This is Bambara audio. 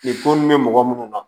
bɛ mɔgɔ minnu na